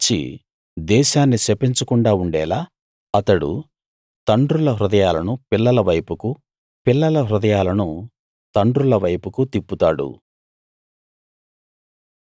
నేను వచ్చి దేశాన్ని శపించకుండా ఉండేలా అతడు తండ్రుల హృదయాలను పిల్లల వైపుకు పిల్లల హృదయాలను తండ్రుల వైపుకు తిప్పుతాడు